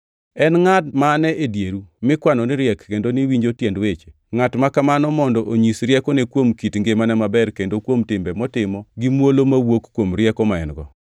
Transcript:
En ngʼat mane e dieru mikwano ni riek kendo ni winjo tiend weche? Ngʼat ma kamano mondo onyis riekone kuom kit ngimane maber kendo kuom timbe motimo gi muolo mawuok kuom rieko ma en-go.